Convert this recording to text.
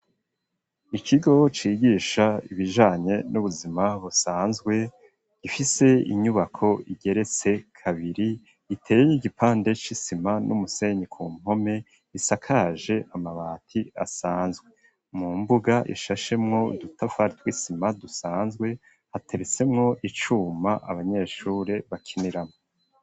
Ikigo cigisha ibijanye n'ubuzima busanzwe gifise inyubako igeretse kabiri iteye y'igipande c'isima n'umusenyi ku mpome isakaje amabati asanzwe mu mbuga ishashemwo udutafari tw'isima dusanzwe hateretsemwo icuma abanyeshuri bakiniramwo.